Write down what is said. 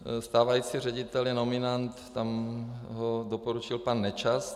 Stávající ředitel je nominant, tam ho doporučil pan Nečas.